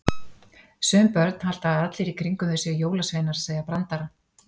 Sum börn halda að allir í kringum þau séu jólasveinar að segja brandara.